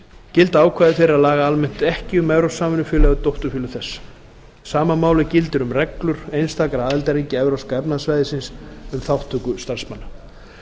gilda ákvæði þeirra laga almennt ekki um evrópsk samvinnufélög eða dótturfélög þess sama máli gildir um reglur einstakra aðildarríkja evrópska efnahagssvæðisins um þátttöku starfsmanna